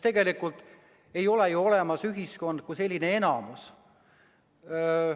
Tegelikult ei ole ju ühiskond selline enamus.